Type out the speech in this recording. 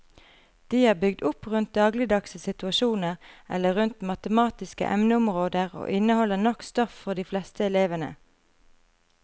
De er bygd opp rundt dagligdagse situasjoner eller rundt matematiske emneområder og inneholder nok stoff for de fleste elevene.